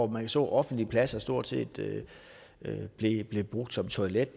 man så offentlige pladser der stort set blev brugt som toilet